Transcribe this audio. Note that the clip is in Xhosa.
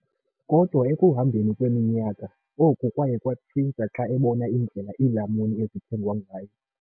Kodwa ekuhambeni kweminyaka, oku kwaye kwatshintsha xa ebona indlela iilamuni ezithengwa ngayo.